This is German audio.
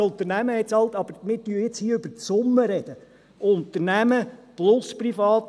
Das Unternehmen hat bezahlt, aber wir sprechen jetzt hier über die Summe: Unternehmen plus privat.